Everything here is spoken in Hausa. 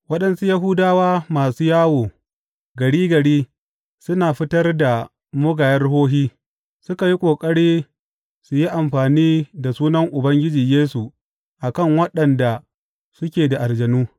Waɗansu Yahudawa masu yawo gari gari suna fitar da mugayen ruhohi suka yi ƙoƙari su yi amfani da sunan Ubangiji Yesu a kan waɗanda suke da aljanu.